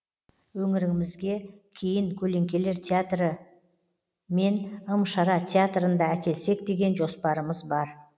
өңірімізге кейін көлеңкелер театры мен ым шара театрын да әкелсек деген жоспарымыз бар